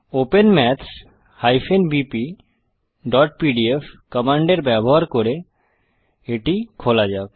open maths bpপিডিএফ command এর ব্যবহার করে এটি খোলা যাক